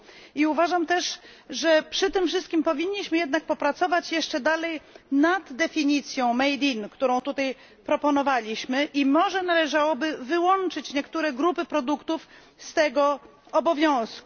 I uważam też, że przy tym wszystkim powinniśmy jednak popracować jeszcze dalej nad definicją którą tutaj proponowaliśmy, i może należałoby wyłączyć niektóre grupy produktów z tego obowiązku.